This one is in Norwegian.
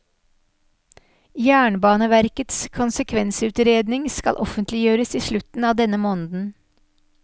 Jernbaneverkets konsekvensutredning skal offentliggjøres i slutten av denne måneden.